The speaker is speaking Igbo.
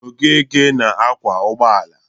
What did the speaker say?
Okeke na-akwọ ụgbọala.